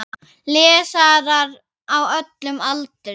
Lesarar á öllum aldri.